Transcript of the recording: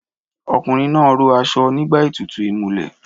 Ọkùnrin náà ró aṣọ nígbà ètùtù ìmulẹ̀